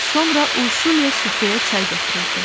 Sonra Urşulya süfrəyə çay gətirirdi.